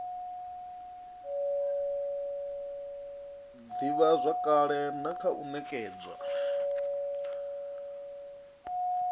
ivhazwakale na kha u nekedzwa